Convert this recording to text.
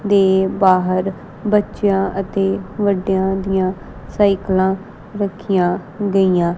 ਦੇ ਬਾਹਰ ਬੱਚਿਆਂ ਅਤੇ ਵੱਡਿਆਂ ਦੀਆਂ ਸਾਈਕਲਾਂ ਰੱਖੀਆਂ ਗਈਆ --